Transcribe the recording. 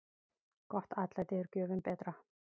Gott atlæti er gjöfum betra.